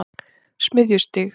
Smiðjustíg